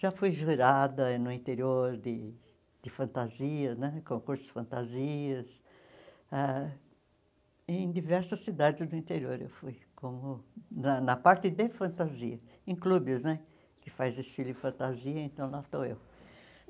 Já fui jurada no interior de de fantasia né, em concursos de fantasias, ah em diversas cidades do interior eu fui, como na na parte de fantasia, em clubes né que faz desfile de fantasia, então lá estou eu.